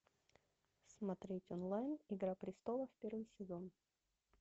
смотреть онлайн игра престолов первый сезон